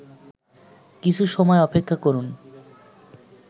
কিছু সময় অপেক্ষা করুন